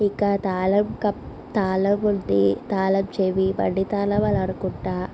ఇక్కడ తాళం కప్ తాళం ఉంది. తాళం చెవి. బండి తాళం అని అనుకుంట.